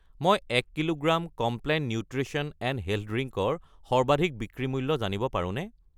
মই 1 kilogram Complan nutrition and health drink ৰ সৰ্বাধিক বিক্ৰী মূল্য জানিব পাৰোনে?